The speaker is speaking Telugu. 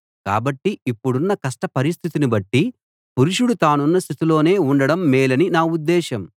కాబట్టి ఇప్పుడున్న కష్ట పరిస్థితిని బట్టి పురుషుడు తానున్న స్థితిలోనే ఉండడం మేలని నా ఉద్దేశం